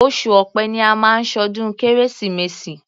Oṣù Ọ̀pẹ ni a máa ń ṣọdún Kérésìmesì.